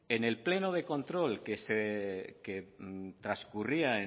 en el pleno de control que transcurría